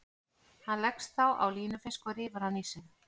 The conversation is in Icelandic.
Hann leggst þá á línufisk og rífur hann í sig.